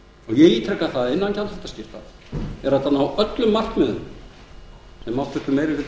ég ítreka að innan gjaldþrotaskipta er hægt að ná öllum markmiðum sem háttvirtur meiri hluti